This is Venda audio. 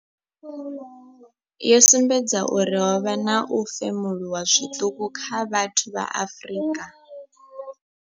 Yo sumbedza uri ho vha na u femuluwa zwiṱuku kha vhathu vha Afrika.